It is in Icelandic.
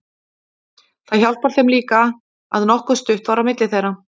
Það hjálpar þeim líka að nokkuð stutt var á milli þeirra.